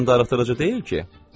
Ondan darıxdırıcı deyil ki?